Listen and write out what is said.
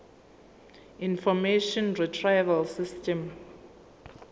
information retrieval system